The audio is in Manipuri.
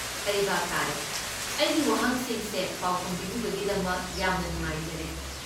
ꯑꯩ ꯚꯥꯞ ꯇꯥꯔꯦ꯫ ꯑꯩꯒꯤ ꯋꯥꯍꯪꯁꯤꯡꯁꯦ ꯄꯥꯎꯈꯨꯝ ꯄꯤꯕꯤꯕꯒꯤꯗꯃꯛ ꯌꯥꯝꯅ ꯅꯨꯡꯉꯥꯏꯖꯔꯦ꯫